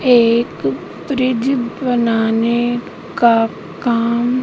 एक ब्रिज बनाने का काम--